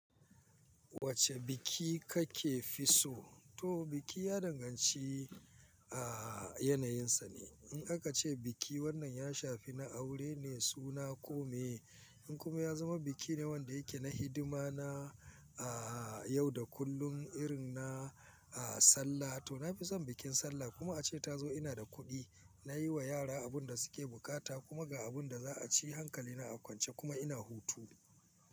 Wacce biki kake fi so? To biki ya danganci, a, yanayinsa ne. In aka ce biki wannan ya shafi na aure ne suna kome. In kuma ya zama biki ne wanda yake na hidima na, a, yau da kullum irin na, a, Sallah to na fi son bikin Sallah kuma ace ta zo ina da kuɗi. Na yi wa yara abin da suke bukata kuma ga abun da za a ci hankali na a kwance kuma ina hutu.